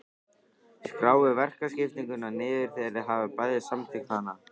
Skráið verkaskiptinguna niður þegar þið hafið bæði samþykkt hana.